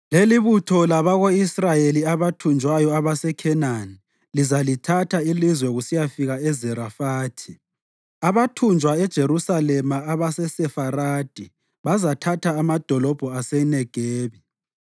Lelibutho labako-Israyeli abathunjwayo abaseKhenani lizalithatha ilizwe kusiyafika eZarefathi; abathunjwa eJerusalema abaseSefaradi bazathatha amadolobho aseNegebi.